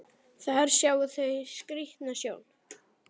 Þar sjá þau skrýtna sjón.